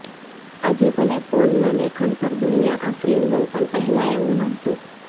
આજે ભલે પોલનાં લેખન પર દુનિયા આફરીન હોય પણ પહેલાં એવું નહોતું